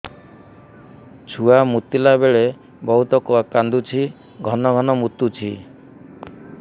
ଛୁଆ ମୁତିଲା ବେଳେ ବହୁତ କାନ୍ଦୁଛି ଘନ ଘନ ମୁତୁଛି